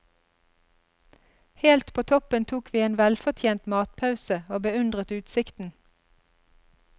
Helt på toppen tok vi en velfortjent matpause, og beundret utsikten.